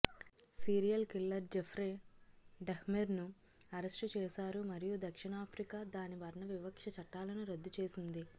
serial killer Jeffrey డహ్మెర్ను arrest చేశారు మరియు దక్షిణ ఆఫ్రికా దాని వర్ణవివక్ష చట్టాలను రద్దు చేసింది